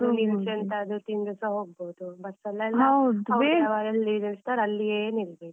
ಎಲ್ಲಿ ಬೇಕಾದ್ರು ನಿಲ್ಸಿ ಎಂತಾದ್ರೂ ತಿಂದುಸ ಹೋಗ್ಬೋದು, bus ಅವ್ರು ಎಲ್ಲಿ ನಿಲ್ಲಿಸ್ತಾರೆ, ಅಲ್ಲಿಯೇ ನಿಲ್ಬೇಕು.